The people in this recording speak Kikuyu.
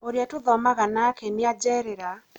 ũrĩa tũthomaga nake nĩ ajerera